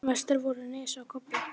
Bliknar dáldið.